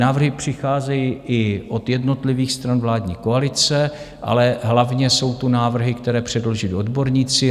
Návrhy přicházejí i od jednotlivých stran vládní koalice, ale hlavně jsou tu návrhy, které předložili odborníci.